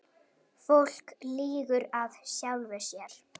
Fólk lýgur að sjálfu sér.